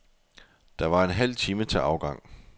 Der var en halv time til afgang.